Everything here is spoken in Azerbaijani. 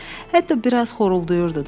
Hətta biraz xorulduyurdu da.